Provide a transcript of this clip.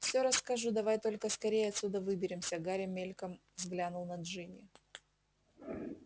все расскажу давай только скорее отсюда выберемся гарри мельком взглянул на джинни